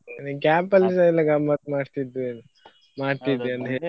ನೀನ್ camp ಅಲ್ಲಿಸ ಎಲ್ಲ ಗಮ್ಮತ್ .